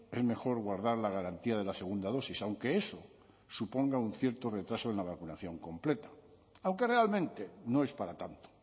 es mejor guardar la garantía de la segunda dosis aunque eso suponga un cierto retraso en la vacunación completa aunque realmente no es para tanto